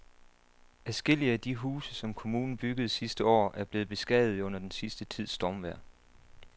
Adskillige af de huse, som kommunen byggede sidste år, er blevet beskadiget under den sidste tids stormvejr.